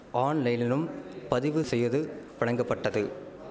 ஆன்லைனினும் பதிவு செய்து பழங்கப்பட்டது